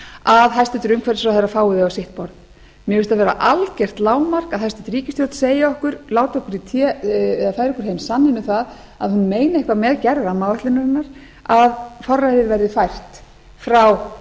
að hæstvirtur umhverfisráðherra fái þau á sitt borð mér finnst það vera algjört lágmark að hæstvirt ríkisstjórn segi okkur láti okkur í té eða færi okkur heim sanninn um það að hún meini eitthvað með gerð rammaáætlunarinnar að forræðið verði fært frá